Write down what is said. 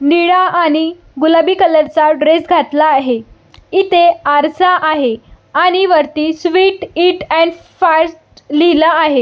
निळा आणि गुलाबी कलर चा ड्रेस घातला आहे इथे आरसा आहे आणि वरती स्वीट ईट आणि फाट लिहल आहे.